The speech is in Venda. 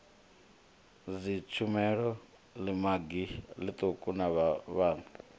dzitshumelo ḽimagi ḽiṱuku na vhafhaṱi